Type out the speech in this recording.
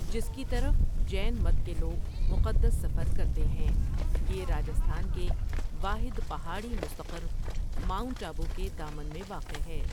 جس کی طرف جین مت کے لوگ مقدس سفر کرتے ہیں یہ راجستھان کے واحد پہاڑی مستقر ماؤنٹ آبو کے دامن میں واقع ہے ۔